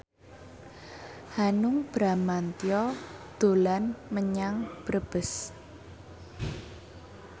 Hanung Bramantyo dolan menyang Brebes